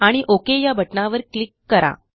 आणि ओक या बटणावर क्लिक करा